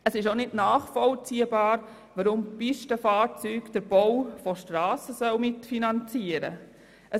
Es ist auch nicht nachvollziehbar, weshalb Pistenfahrzeuge den Bau von Strassen mitfinanzieren sollen.